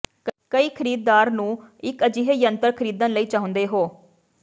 ਕਈ ਖਰੀਦਦਾਰ ਨੂੰ ਇੱਕ ਅਜਿਹੇ ਯੰਤਰ ਖਰੀਦਣ ਲਈ ਚਾਹੁੰਦੇ ਹੋ